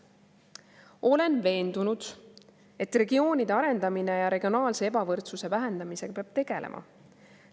Olen veendunud, et regioonide arendamise ja regionaalse ebavõrdsuse vähendamisega peab tegelema.